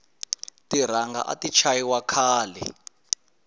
tiranga ati chayi wa khale